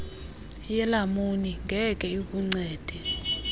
yelamuni ngeke ikuncede